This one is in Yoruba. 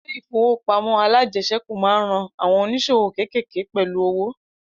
Ilẹ̀ ìfowópamọ́ alájẹsẹ́kù máa ń ran àwọn ònísòwò kékéèké pẹ̀lú owo